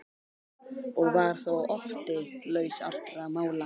Og var þó Otti laus allra mála.